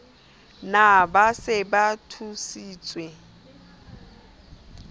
na ba se ba thusitswe